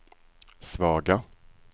svaga